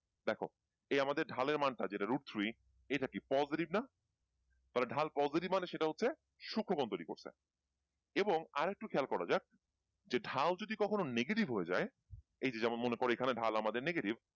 এই আমাদের ঢালের মান টা যেটা route three এটা কি positive না? তাহলে ঢাল positive মানে সেটা হচ্ছে সূক্ষকোণ তৈরি করছে এবং আরেকটু খেয়াল করা যাক যে ঢাল যদি কখনো negative হয়ে যায় এই যে যেমন মনে করো এখানে ঢাল আমাদের negative